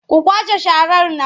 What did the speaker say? Ku kwashe sharar nan!